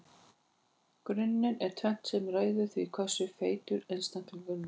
Í grunninn er tvennt sem ræður því hversu feitur einstaklingur er.